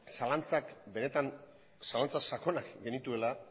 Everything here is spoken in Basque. zalantza sakonak genituela